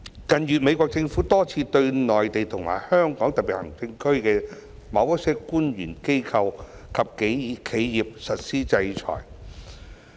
近月美國政府多次對內地及香港特別行政區的某些官員、機構及企業實施制裁。